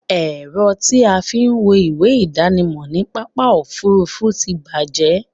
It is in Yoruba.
Ẹ̀rọ tí a fí ń wo ìwé ìdánimọ̀ ní pápá òfurufú ti bàjẹ́